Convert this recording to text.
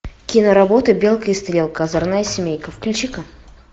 киноработа белка и стрелка озорная семейка включи ка